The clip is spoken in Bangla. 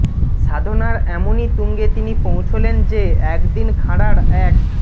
সাধনার এমনই তুঙ্গে তিনি পৌঁছলেন যে একদিন খাঁড়ার এক